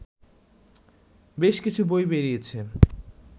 বেশ কিছু বই বেরিয়েছে